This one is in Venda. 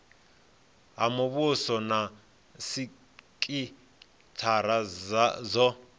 ha muvhuso na sikithara dzo